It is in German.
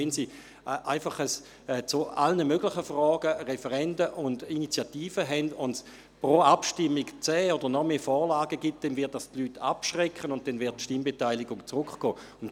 Wenn Sie zu allen möglichen Fragen Referenden und Initiativen haben und es pro Abstimmung zehn Vorlagen oder mehr gibt, wird dies die Leute abschrecken, sodass die Stimmbeteiligung zurückgeht.